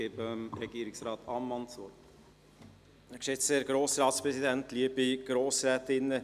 Somit hat Regierungsrat Ammann das Wort.